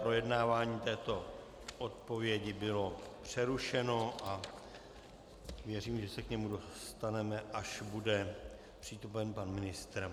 Projednávání této odpovědi bylo přerušeno a věřím, že se k němu dostaneme, až bude přítomen pan ministr.